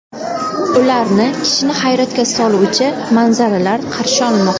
Ularni kishini hayratga soluvchi manzaralar qarshi olmoqda.